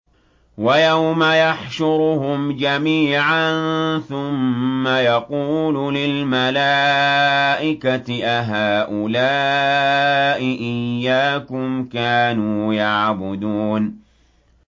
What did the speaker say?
وَيَوْمَ يَحْشُرُهُمْ جَمِيعًا ثُمَّ يَقُولُ لِلْمَلَائِكَةِ أَهَٰؤُلَاءِ إِيَّاكُمْ كَانُوا يَعْبُدُونَ